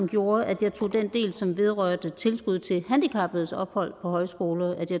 gjorde at jeg tog den del som vedrørte tilbud til handicappedes ophold på højskoler